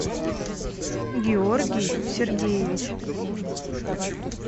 георгий сергеевич